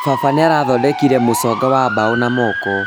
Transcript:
Baba nĩarathondekire mũcongo wa mbaũ na moko